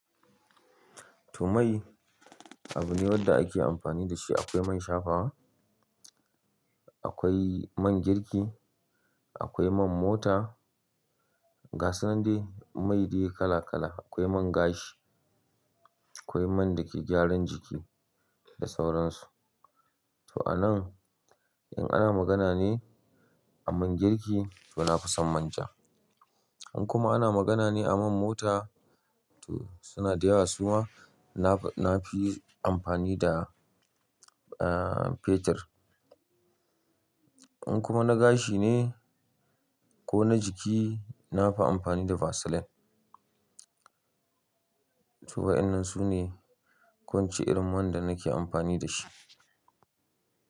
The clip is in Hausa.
To mai abu ne wanda ake amfani da shi. Akwai man shafawa, akwai man girki, akwai man mota, gasu nan dai mai dai kala kala. Akwai man gashi, akwai man da ke gyaran jiki da sauran su. To a nan in ana magana ne a man girki to na fi son manja. In kuma ana magana ne a man mota to suna da yawa kuma na fi amfani da, ah, fetur. In kuma na gashi ne ko na jiki na fi amfani da vaseline. To wa'ennan su ne kwance irin man da nake amfani da shi.